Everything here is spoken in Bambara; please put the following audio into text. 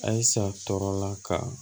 Ayisa tɔ la ka